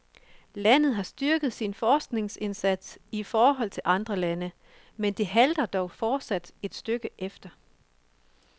Landet har styrket sin forskningsindsats i forhold til andre lande, men det halter dog fortsat et stykke efter.